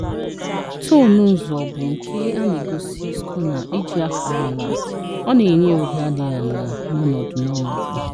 Toonụ nzọ bụ nke a na-egosi skona iji akará àlà, ọ na-ényé ụdá dị àlà n'onudu. n'onudu.